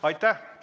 Aitäh!